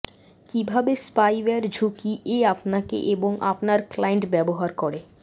কিভাবে স্পাইওয়্যার ঝুঁকি এ আপনাকে এবং আপনার ক্লায়েন্ট ব্যবহার করে